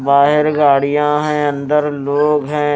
बाहर गाड़ियां है अंदर लोग हैं।